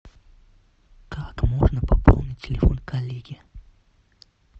как можно пополнить телефон коллеги